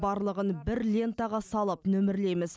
барлығын бір лентаға салып нөмірлейміз